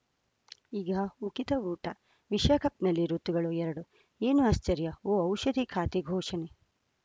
ಈಗ ಉಕಿತ ಊಟ ವಿಶ್ವಕಪ್‌ನಲ್ಲಿ ಋತುಗಳು ಎರಡು ಏನು ಆಶ್ಚರ್ಯಾ ಓ ಔಷಧಿ ಖಾತೆ ಘೋಷಣೆ